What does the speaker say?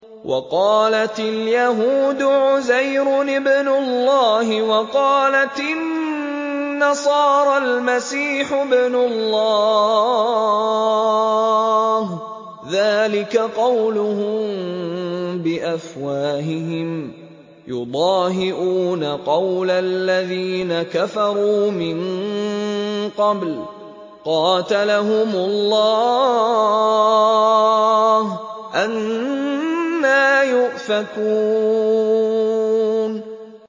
وَقَالَتِ الْيَهُودُ عُزَيْرٌ ابْنُ اللَّهِ وَقَالَتِ النَّصَارَى الْمَسِيحُ ابْنُ اللَّهِ ۖ ذَٰلِكَ قَوْلُهُم بِأَفْوَاهِهِمْ ۖ يُضَاهِئُونَ قَوْلَ الَّذِينَ كَفَرُوا مِن قَبْلُ ۚ قَاتَلَهُمُ اللَّهُ ۚ أَنَّىٰ يُؤْفَكُونَ